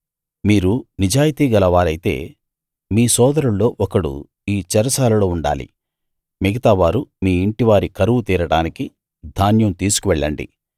మీరు నిజాయితీగల వారైతే మీ సోదరుల్లో ఒకడు ఈ చెరసాలలో ఉండాలి మిగతావారు మీ ఇంటి వారి కరువు తీరడానికి ధాన్యం తీసుకు వెళ్ళండి